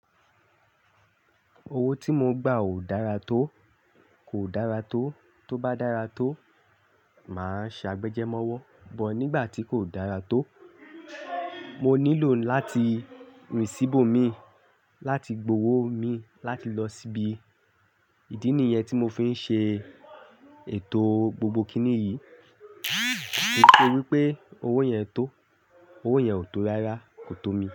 Owó tí mo gba ò dára tó, kò dára tó. Tó bá dára tó, máa ṣe agbẹjẹ́ mówọ́. But nígbà tí kò dára tó, mo nílò láti rìn síbò mi láti gbowó mi láti lọ sí ibi. Ìdí nìyẹn tí mo fi ń ṣe ètò gbogbo kiní yìí. Nítorí pé owó yẹn tó, owó yẹn ò tó rárá, kò tó mi.